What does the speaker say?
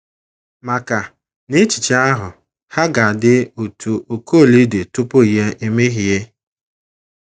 maka, n’echiche ahụ, ha ga - adị otú Okolie dị tupu ya emehie.